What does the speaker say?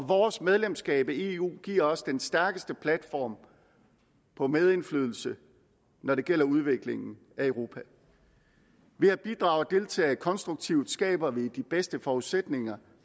vores medlemskab af eu giver os den stærkeste platform for medindflydelse når det gælder udviklingen af europa ved at bidrage og deltage konstruktivt skaber vi de bedste forudsætninger